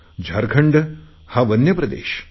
झारखंड हा वन्य प्रदेश